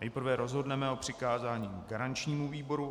Nejprve rozhodneme o přikázání garančnímu výboru.